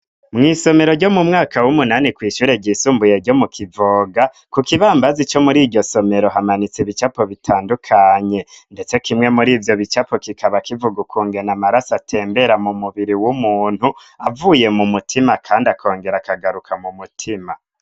mw'isomero ryo mu mwaka w'umunani kw' ishure ry'isumbuye ryo mu kivoga ku kibambazi co muri iryo somero hamanitseko ibicapo bitandukanye ndetse kimwe muri ivyo bicapo kikaba kivuga ukungene amaraso atembera mu mubiri w'umuntu avuye mu mutima kandi akongera akagaruka mu mutima